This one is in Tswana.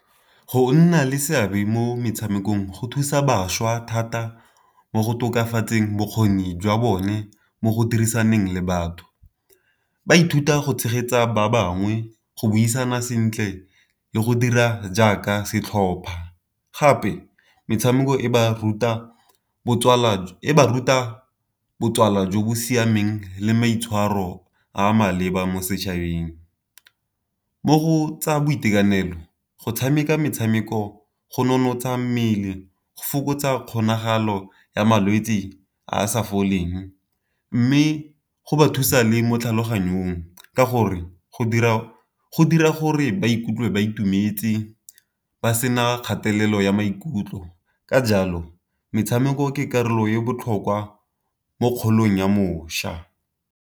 Go nna le seabe mo metshamekong go thusa bašwa thata mo go tokafatseng bokgoni jwa bone mo go dirisaneng le batho, ba ithuta go tshegetsa ba bangwe, go buisana sentle, le go dira jaaka setlhopha. Gape metshameko e ba ruta botsala jo bo siameng, le maitshwaro a maleba mo setšhabeng. Mo go tsa boitekanelo go tshameka metshameko go nonotsha mmele go fokotsa kgonagalo ya malwetsi a a sa foleng, mme go ba thusa le mo tlhaloganyong ka gore go dira gore ba ikutlwe ba itumetse, ba sena kgatelelo ya maikutlo, ka jalo metshameko ke karolo e botlhokwa mo kgolong ya mošwa.